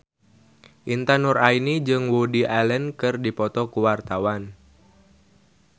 Intan Nuraini jeung Woody Allen keur dipoto ku wartawan